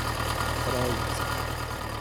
Pravljica.